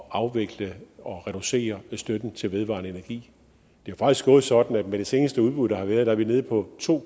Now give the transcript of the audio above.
at afvikle og reducere støtten til vedvarende energi det er faktisk gået sådan at med det seneste udbud der har været er vi nede på to